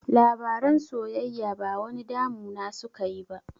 Labaran soyayya ba wani damu na suka yi ba